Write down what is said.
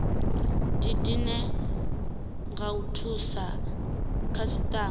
didine nga u thusa khasitama